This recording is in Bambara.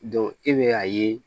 e bɛ a ye